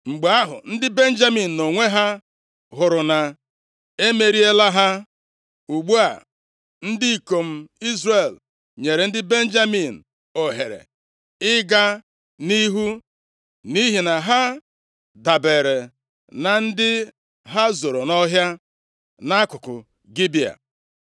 Mgbe ahụ, ndị Benjamin nʼonwe ha, hụrụ na e emeriela ha. Ugbu a, ndị ikom Izrel nyere ndị Benjamin ohere ịga nʼihu, nʼihi na ha dabere na ndị ha zoro nʼọhịa nʼakụkụ Gibea.